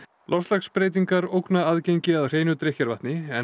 loftslagsbreytingar ógna aðgengi að hreinu drykkjarvatni en